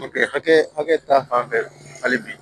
hakɛ hakɛ ta fan fɛ hali bi